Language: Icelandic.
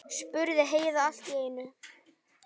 spurði Heiða allt í einu.